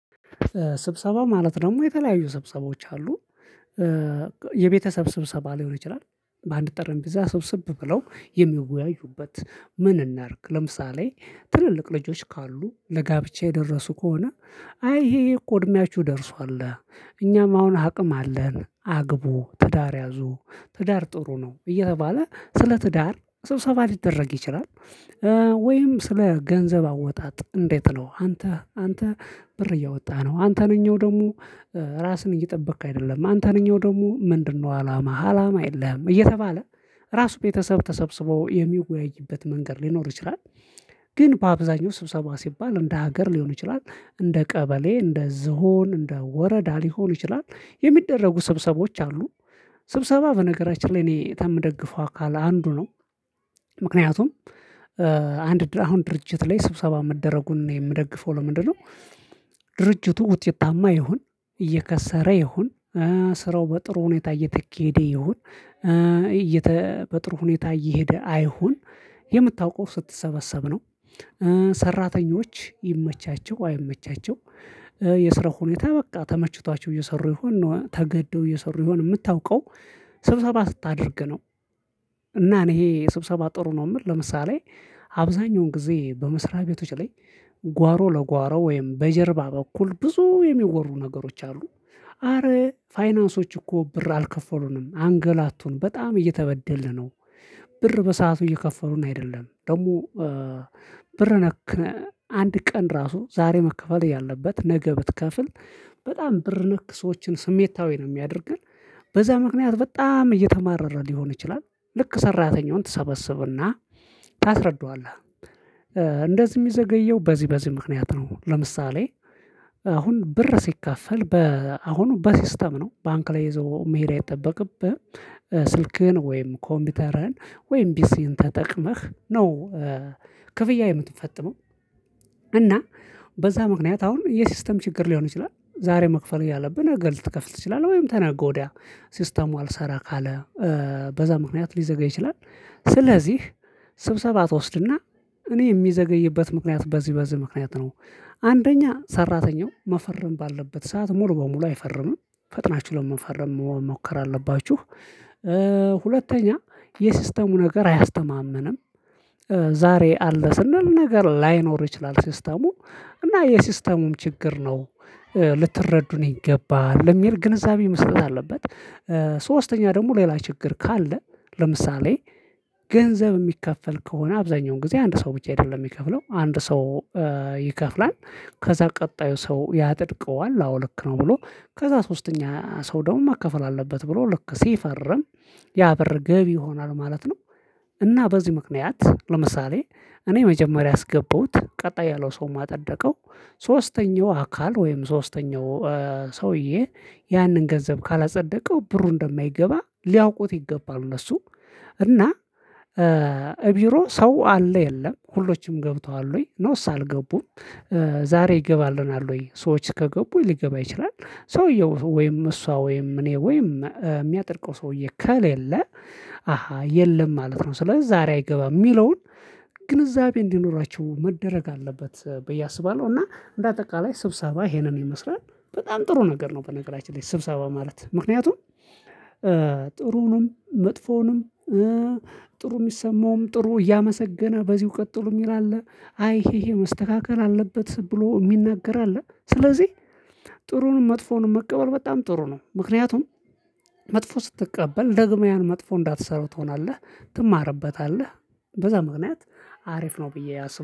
ስብሰባ ማለት ደሞ የተለያዩ ስብሰባዎች አሉ። የቤተሰብ ስብሰባ ሊሆን ይችላል በአንድ ጠረጴዛ ሰብሰብ ብለው የሚወያዩበት? ምን እናርግ ለምሳሌ ትልልቅ ልጆች ካሉ ለጋብቻ የደረሱ ከሆነ። አይ ይሄ ይሄ እኮ እድሜያቹ ደርሷል እኛም አሁን አቅም አለን አግቡ ትዳር ያዙ ትዳር ጥሩ ነው እየተባለ ስለ ትዳር ስብሰባ ሊደረግ ይችላል። ወይም ስለ ገንዘብ አወጣጥ እንዴት ነው? አንተ አንተ ብር እያወጣህ ነው አንተነኛው ደሞ። ራስን እየጠበክ አይደለም አንተነኝው ደሞ ምንድነው? አላማህ አላማ የለህም እየተባለ። ራሱ ቤተሰብ ተሰብስቦ የሚወያይበት መንገድ ሊኖር ይችላል። ግን በአብዛኛው ስብሰባ ሲባል እንደ ሀገር ሊሆን ይችላል እንደ ቀበሌ እንደ ዝሆን እንደ ወረዳ ሊሆን ይችላል የሚደረጉ ስብሰቦች አሉ። ስብሰባ በነገራችን ላይ እኔ ተምደግፈው አካል አንዱ ነው። ምክንያቱም አንድ አሁን ድርጅት ላይ ስብሰባ መደረጉን እኔ ምደግፈው ለምንድነው? ድርጅቱ ውጤታማ ይሁን እየከሰረ ይሁን? ስራው በጥሩ ሁኔታ እየተኬደ ይሁን? እየተ በጥሩ ሁኔታ እየሄደ አይሁን? የምታውቀው ስትሰበሰብ ነው። ሰራተኞች ይመቻቸው አይመቻቸው? የስራ ሁኔታ በቃ ተመችቷቸው እየሰሩ ይሆን ነው ተገደው እየሰሩ ይሆን ምታውቀው? ስብሰባ ስታደርግ ነው። እና እኔ ይሄ ስብሰባ ጥሩ ነው ምል ለምሳሌ። አብዛኛውን ጊዜ በመሰሪያ ቤቶች ላይ። ጓሮ ለጓሮ ወይም በጀርባ በኩል ብዙ የሚወሩ ነገሮች አሉ አረ ፋይናንሶች እኮ ብር አልከፈሉንም አንገላቱን በጣም እየተበደልን ነው። ብር በሰአቱ እየከፈሉን አይደለም ደሞ። ብር ነክ አንድ ቀን ራሱ ዛሬ መከፈል እያለበት ነገ ብትከፍል በጣም ብር ነክ ሰዎችን ስሜታዊ ነው ሚያደርገን። በዛ ምክንያት በጣም እየተማረረ ሊሆን ይችላል። ልክ ሰራተኛውን ትሰበስብና ታስረዳዋለህ። እንደዚ ሚዘገየው በዚ በዚ ምክንያት ነው ለምሳሌ። አሁን ብር ሲከፈል በ አሁን በሲስተም ነው ባንክ ላይ ይዞ መሄድ አይጠበቅብህም። ስልክህን ወይም ኮምቢተርህን ወይም ቢሲህን ተጠቅመህ ነው። ክፍያ የምትፈጥመው። እና በዛ ምክንያት አሁን የሲስተም ችግር ሊሆን ይችላል ዛሬ መክፈል እያለብህ ነገ ልትከፍል ትችላለ ወይም ተነገ ወዲያ ሲስተሙ አልሰራ ካለ። በዛ ምክንያት ሊዘገይ ይችላል። ስለዚህ ስብሰባ ትወስድና እኔ ሚዘገይበት ምክንያት በዚ በዚ ምክንያት ነው። አንደኛ ሰራተኛው መፈረም ባለበት ሰዓት ሙሉ በሙሉ አይፈርምም። ፈጥናቹ ለመፈረም መሞከር አለባቹህ። ሁለተኛ የሲስተሙ ነገር አያስተማምንም። ዛሬ አለ ስንል ነገ ላይኖር ይችላል ሲስተሙ እና የሲስተሙም ችግር ነው። ልትረዱን ይገባል የሚል ግንዛቤ መሰጠት አለበት። ደሞ ሌላ ችግር ካለ። ለምሳሌ ገንዘብ ሚከፈል ከሆነ አብዛኛውን ጊዜ አንድ ሰው ብቻ አይደለም ሚከፍለው አንድ ሰው። ይከፍላል። ከዛ ቀጣዩ ሰው ያጸድቀዋል አዎ ልክ ነው ብሎ ከዛ ሶስተኛ ሰው ደሞ መከፈል አለበት ብሎ ልክ ሲፈርም። ያ ብር ገቢ ይሆናል ማለት ነው። እና በዚ ምክንያት ለምሳሌ እኔ መጀመሪያ አስገባውት ቀጣይ ያለው ሰውም አጸደቀው። ሶስተኛው አካል ወይም ሶስተኛው ሰውዬ ያንን ገንዘብ ካላጸደቀው ብሩ እንደማይገባ ሊያውቁት ይገባሉ እነሱ። እና ቢሮ ሰው አለ የለም ሁሎችም ገብተዋል ወይ ኖስ አልገቡም? ዛሬ ይገባልናል ወይ ሰዎች ከገቡ ሊገባ ይችላል? ሰውየው ወይም እሷ ወይም እኔ ወይም ሚያጸድቀው ሰውዬ ከሌለ? አሃ የለም ማለት ነው። ስለዚ ዛሬ አይገባም ሚለውን ግንዛቤ እንዲኖራቸው መደረግ አለበት ብዬ አስባለው። እና እንደ አጠቃላይ ስብሰባ ይሄንን ይመስላል። በጣም ጥሩ ነገር ነው። በነገራችን ላይ ስብሰባ ማለት ምክንያቱም። ጥሩውንም መጥፎውንም ጥሩ ሚሰማውም ጥሩ እያመሰገነ በዚው ቀጥሉ ሚል አለ። አይ ይሄ ይሄ መስተካከል አለበት ብሎ ሚናገር አለ። ስለዚህ ጥሩንም መጥፎንም መቀበል በጣም ጥሩ ነው። ምክንያቱም መጥፎ ስትቀበል ደግመህ ያን መጥፎ እንዳትሰሩ ትሆናለህ። ትማርበታለህ። በዛ ምክንያት አሪፍ ነው ብዬ አስብ